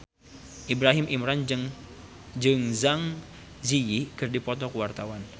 Ibrahim Imran jeung Zang Zi Yi keur dipoto ku wartawan